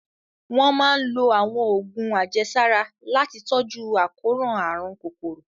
Wọ́n máa ń lo àwọn oògùn àjẹsára láti tọ́jú àkóràn àrùn kòkòrò